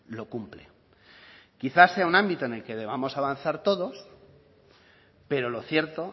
lo cumple quizá sea un ámbito en el que debamos avanzar todos pero lo cierto